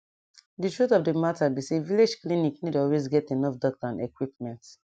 di truth of the matter be say village clinic nor dey always get enough doctor and equipment